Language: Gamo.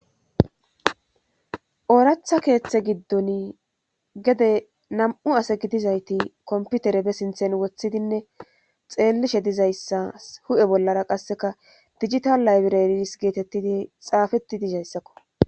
Ooratha keeththe giddon gede nam'u ase gidizayti komputere be sinthen wothidinne xeellishe dizayssa hu'e bollara qasseka dijita laybiraris geetettidi xaafeti dizayssakko.